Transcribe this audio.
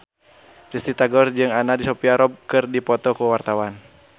Risty Tagor jeung Anna Sophia Robb keur dipoto ku wartawan